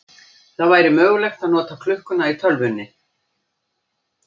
Það væri mögulegt að nota klukkuna í tölvunni.